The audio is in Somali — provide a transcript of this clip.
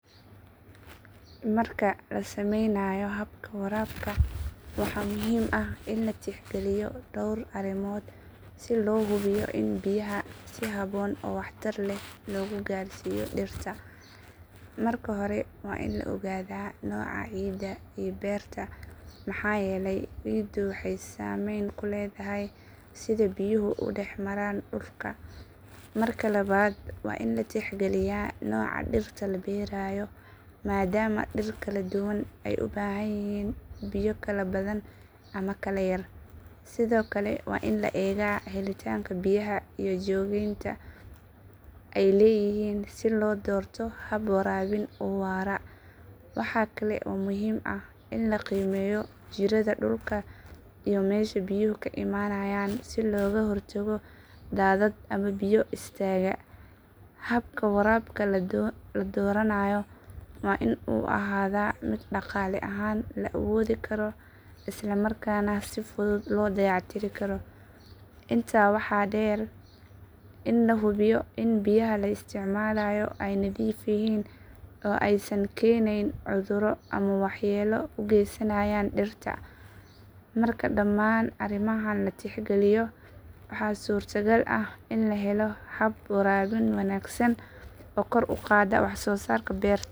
Marka la samaynayo habka waraabka waxaa muhiim ah in la tixgeliyo dhawr arrimood si loo hubiyo in biyaha si habboon oo waxtar leh loogu gaarsiiyo dhirta. Marka hore waa in la ogaadaa nooca ciidda ee beerta maxaa yeelay ciiddu waxay saamayn ku leedahay sida biyuhu u dhex maraan dhulka. Marka labaad waa in la tixgeliyaa nooca dhirta la beerayo maadaama dhir kala duwan ay u baahanyihiin biyo kala badan ama kala yar. Sidoo kale waa in la eegaa helitaanka biyaha iyo joogteynta ay leeyihiin si loo doorto hab waraabin oo waara. Waxaa kale oo muhiim ah in la qiimeeyo jiirada dhulka iyo meesha biyuhu ka imaanayaan si looga hortago daadad ama biyo is taaga. Habka waraabka la dooranayo waa in uu ahaadaa mid dhaqaale ahaan la awoodi karo isla markaana si fudud loo dayactiri karo. Intaa waxaa dheer in la hubiyo in biyaha la isticmaalaayo ay nadiif yihiin oo aysan keenayn cudurro ama waxyeelo u gaysanayn dhirta. Marka dhammaan arrimahan la tixgeliyo waxaa suurtagal ah in la helo hab waraabin wanaagsan oo kor u qaada wax soo saarka beerta.